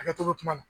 Hakɛto bɛ kuma na